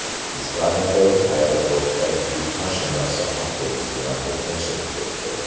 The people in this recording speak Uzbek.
Ispaniyadagi aeroportda yuk mashinasi avtobus bilan to‘qnashib ketdi.